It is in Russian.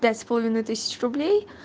пять с половиной тысяч рублей